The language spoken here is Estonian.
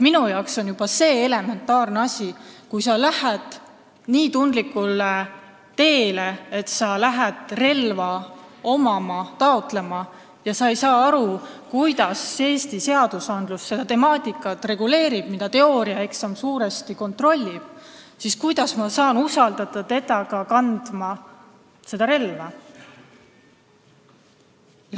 Minu arvates on see elementaarne asi: kui sa lähed nii tundlikule teele, et hakkad relva taotlema, aga sa ei saa aru, kuidas Eesti seadused seda temaatikat reguleerivad , siis kuidas ma saan sind usaldada seda relva kandma?